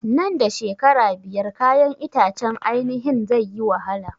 Nan da shekara biyar kayan itacen ainihin zai yi wahala